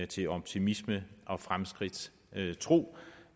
til optimisme og fremskridtstro